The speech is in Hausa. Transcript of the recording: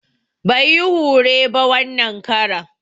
Bai yi hure ba wanan karan